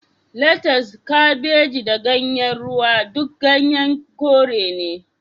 Latas, Kabeji da Ganyen Ruwa duk ganyen kore ne